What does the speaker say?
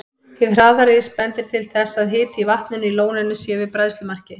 Hið hraða ris bendir til þess, að hiti í vatninu í lóninu sé yfir bræðslumarki.